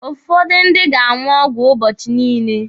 Ụfọdụ ndị ga-aṅụ ọgwụ ụbọchị niile.